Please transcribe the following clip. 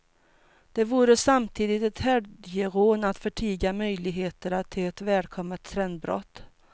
Det vore samtidigt ett helgerån att förtiga möjligheterna till ett välkommet trendbrott.